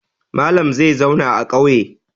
Malam zai zauna a ƙauye.